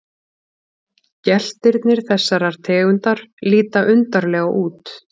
Geltirnir þessarar tegundar líta undarlega út.